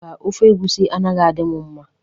Mba, Ofe egwusi anaghị adị mụ mma.